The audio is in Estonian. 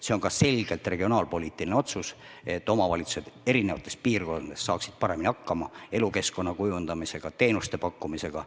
See on ka selgelt regionaalpoliitiline otsus, et omavalitsused saaksid erinevates piirkondades paremini hakkama elukeskkonna kujundamisega, teenuste pakkumisega.